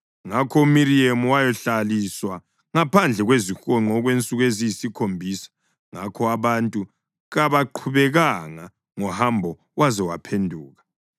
Ngakho uMiriyemu wahlaliswa ngaphandle kwezihonqo okwensuku eziyisikhombisa, ngakho abantu kabaqhubekanga ngohambo waze waphenduka.